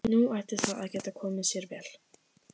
Nú ætti það að geta komið sér vel.